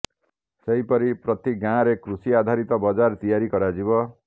ସେହିପରି ପ୍ରତି ଗାଁରେ କୃଷି ଆଧାରିତ ବଜାର ତିଆରି କରାଯିବ